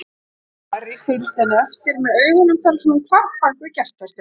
Ari fylgdi henni eftir með augunum þar til hún hvarf bak við kertastjakann.